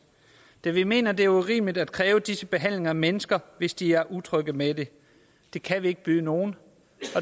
da vi mener det er urimeligt at kræve disse behandlinger af mennesker hvis de er utrygge ved det det kan vi ikke byde nogen